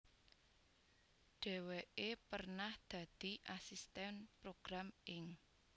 Dhéwéké pernah dadi asistèn program ing